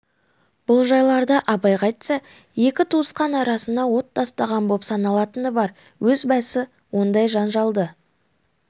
бұл жайларды абайға айтса екі туысқан арасына от тастаған боп саналатыны бар өз басы ондай жан-жалды